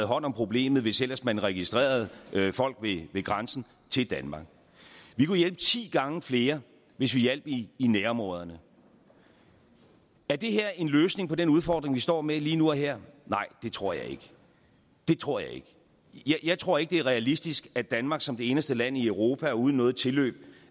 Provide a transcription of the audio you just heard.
hånd om problemet hvis ellers man registrerede folk ved grænsen til danmark vi kunne hjælpe ti gange flere hvis vi hjalp i nærområderne er det her en løsning på den udfordring vi står med lige nu og her nej det tror jeg ikke det tror jeg ikke jeg tror ikke det er realistisk at danmark som det eneste land i europa og uden noget tilløb